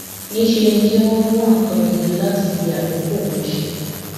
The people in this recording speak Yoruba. níṣẹ ni kí wọn wá nǹkan gidi láti fi àkókò wọn ṣe